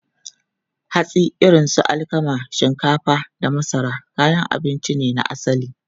Hatsi irin su alkama, shinkafa, da masara kayan abinci ne na asali.